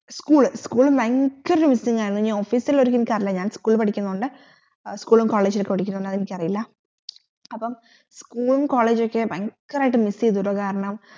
school ഭയങ്കര missing ആയിരുന്നു ഇനി office ലേതു എനിക്കറീല ഞാൻ school പടിക്കുന്നോണ്ട് school college പടിക്കൊന്നുണ്ട് എനിക്കറീല അപ്പം school ഉം college ക്കെ ഭയങ്കരട്ട് miss യ്തു കാരണം